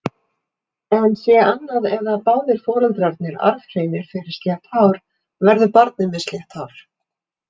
En sé annað eða báðir foreldrarnir arfhreinir fyrir slétt hár, verður barnið með slétt hár.